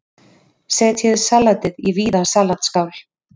Setjið salatið í víða salatskál.